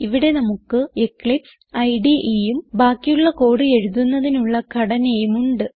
ഇവിടെ നമുക്ക് എക്ലിപ്സ് IDEഉം ബാക്കിയുള്ള കോഡ് എഴുതുന്നതിനുള്ള ഘടനയും ഉണ്ട്